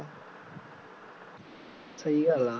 ਸਹੀ ਗੱਲ ਆ